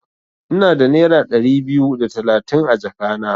Ina da nera Dari biyu da talatin a jaka na.